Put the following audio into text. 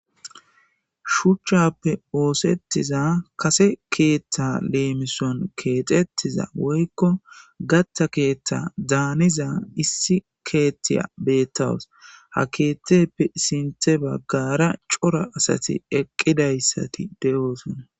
Shuchchappe oosettiza kase keeththa leemison keexettiza woykko gatta keeththa daaniza issi keethtiya beettawus ha keeththep sinthe baggara cora asati eqqidayssati de7oosona.